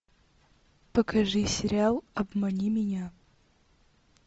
покажи сериал обмани меня